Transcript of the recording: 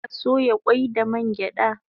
Ana soya kwai da man gyada